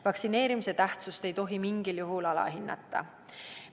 Vaktsineerimise tähtsust ei tohi mingil juhul alahinnata.